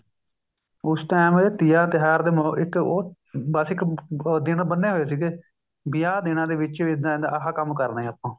ਉਸ time ਤੀਆਂ ਦਾ ਤਿਉਹਾਰ ਦੇ ਇੱਕ ਉਹ ਬੱਸ ਇੱਕ ਦਿੰਨ ਬੰਨੇ ਹੋਏ ਸੀਗੇ ਵੀ ਆਹ ਦਿੰਨਾ ਦੇ ਵਿੱਚ ਇੱਦਾਂ ਇੱਦਾਂ ਆਹ ਕੰਮ ਕਰਨੇ ਆ ਆਪਾਂ